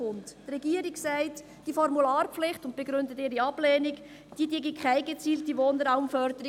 Die Regierung sagt, die Formularpflicht – und begründet ihre Ablehnung – sei keine gezielte Wohnraumförderung.